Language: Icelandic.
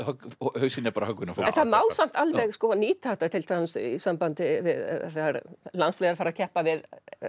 hausinn er bara höggvinn af fólki það má samt alveg nýta þetta til dæmis í sambandi við þegar landslið er að fara að keppa við